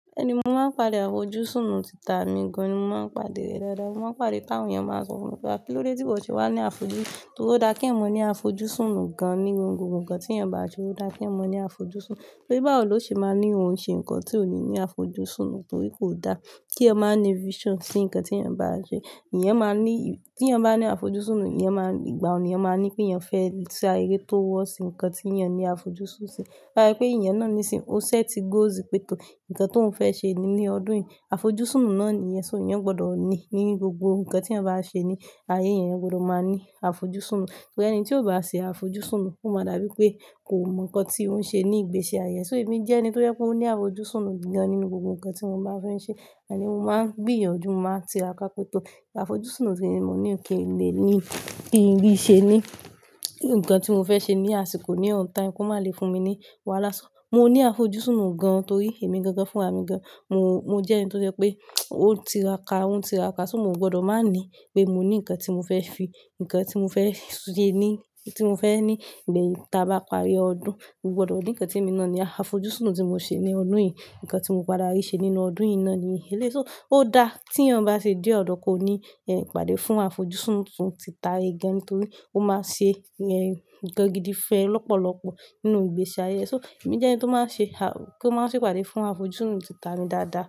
Ẹni mo máa ń pàdé àfojúsùn nú tita mi gan, mo máa ń pàdé rẹ dáadáa. Mo máa ń pàdé káwọn èèyàn máa ń sọ fún mi pé à kí ló dé tí ìwọ̀ ti wá ní àfojúsùn? Torí ó dá kí èèyàn mọ ní àfojúsùn nù gan ní gbogbo nǹkan tí èèyàn bá ṣe, ó dá kí èèyàn mọ ní àfojúsùn. Torí báwò ló ṣe máa ni òun ṣe nǹkan tí ò ní ní àfojúsùn torí kò da kí èèyàn má ní vision sí nǹkan tí èèyàn bá n ṣe. Eeyàn máa ní, tí èèyàn bá ní àfojúsùn, ẹ̀yàn máa ní, ìgbàyen ni èèyàn máa ní pé èèyàn fẹ́ ṣe ere towards ǹkan tí èèyàn ní àfojúsùn sí. To ba se pé èèyàn náà nísín, o set goals pe--- to-- nǹkan tó ń fẹ́ ṣe ní ọdún yìí, àfojúsùn nù náà nìyẹn. So èèyàn gbọdọ̀ ní nínú gbogbo nǹkan tí èèyàn bá ṣe ní ayé èèyàn, èèyàn gbọdọ̀ máa ní àfojúsùn nù. Torí ẹni tí ò bá ṣe àfojúsùn nù, ó máa dàbí pé kò mọ nǹkan tí ó ń ṣe ní ìgbésí ayé. So èmi jẹ́ ẹni tó jẹ́ pé ó ní àfojúsùn nù gan nínú gbogbo nǹkan tí mo bá fẹ́ ṣe. Àní mo máa ń gbìyànjú, mo máa ń tiraka pe----to àfojúsùn nù tí mọ ní kì n lè ní kí n ríi ṣe náà. Ǹkan tí mo fẹ́ ṣe ní àsìkò ní on time kò má le fún mi ní wàhálà. So mo ní àfojúsùn nù gan torí èmi gan gan fúnra mi gan. Mo, mo jẹ́ ẹni tó se pé ó ń tiraka, ó ń tiraka. So mo gbọdọ̀ máa ní pé mo ní nǹkan tí mo fẹ́ fi, nǹkan tí mo fẹ́ ṣe ní, tí mo fẹ́ ní ìgbà tí a bá parí ọdún. Mo gbọdọ̀ ní nǹkan tí èmi náà ní, ah, àfojúsùn nù tí mo ṣe ní ọdún yìí. Nǹkan tí mo padà rí ṣe nínú ọdún yìí náà ni. Eléyìí, so ó da tí èèyàn bá ṣe dé ọ̀dọ̀ ko ní ìpàdé fún àfojúsùn nù tita ra e gan torí ó máa ṣe ẹ́ nǹkan gidi fẹ́ lọ́pọ̀lọ́pọ̀ nínú ìgbésí ayé. So èmi jẹ́ ẹni tó máa ṣe a, kó má ṣe ìpàdé fún àfojúsùn nù tita mi dáadáa.